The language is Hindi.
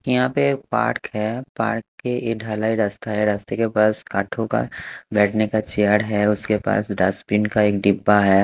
यहां पे पार्क है पार्क के ये ढलाई रस्ता है रस्ते के पास काठों का बैठने का चेयर है उसके पास डस्टबिन का एक डिब्बा है।